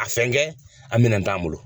A fɛnkɛ a minɛn t'an bolo.